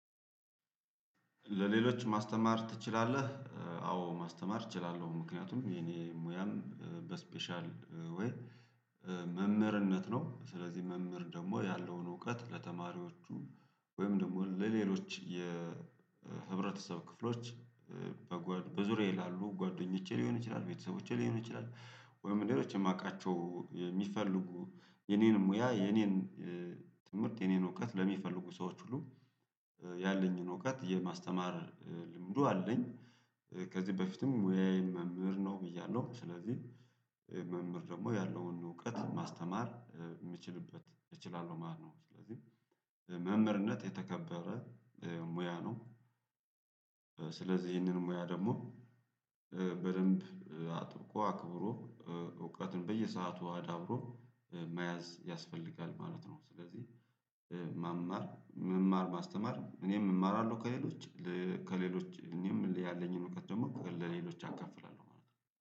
ለሌሎች ማስተማር ትችላለህ? እ አዎ ማስተማር እችላለሁ ምክንያቱም የኔ ሙያም እ በስፔሻል እ ወይ እ መምህርነት ነው። ስለዚህ መምህር ደግሞ ያለውን እውቀት ለተማሪዎቹ ወይም ደግሞ ለሌሎች የህብረተሰብ ክፍሎች እ በዙሪያዬ ላሉ ጓደኞቼ ሊሆን ይችላል። ቤተሰቦቼ ሊሆን ይችላል ወይም ሌሎች የማውቃቸው የሚፈልጉ የኔን ሙያ የኔን እ ትምህርት የኔን እውቀት ለሚፈልጉ ሰዎች ሁሉ ያለኝን እውቀት የማስተማር ልምዱ አለኝ። እ ከዚህ በፊትም ሙያየ መምህር ነው ብያለሁ ስለዚህ መምህር ደግሞ ያለውን እውቀት ማስተማር እ ምችልበት እችላለሁ ማለት ነው። ስለዚህ መምህርነት የተከበረ እ ሙያ ነው። ስለዚህ ይህንን ሙያ ደግሞ እ በደንብ አጥብቆ አክብሮ እ እውቀትን በየሰአቱ አዳብሮ እ መያዝ ያስፈልጋል ማለት ነው። ስለዚህ እ መማር መማር ማስተማር እኔም እማራለሁ ከሌሎች ከሌሎች እኔም ያለኝን እውቀት ደግሞ ለሌሎች አካፍላለሁ ማለት ነው